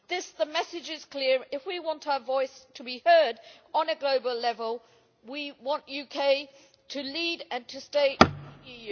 Thus, the message is clear, if we want our voice to be heard on a global level we want the UK to lead and to stay in the EU.